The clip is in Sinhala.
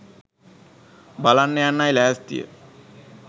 බලන්න යන්නයි ලෑස්තිය